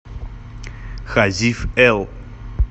хазив эл